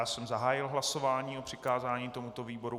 Já jsem zahájil hlasování o přikázání tomuto výboru.